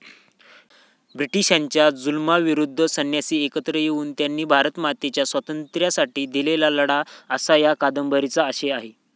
ब्रिटिशांच्या जुलुमाविरुद्ध संन्यासी एकत्र येऊन त्यांनी भारतमातेच्या स्वातंत्र्यासाठी दिलेला लढा असा या कादंबरीचा आशय आहे.